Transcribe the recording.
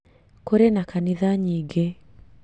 Kũrĩ na kanitha nyingĩ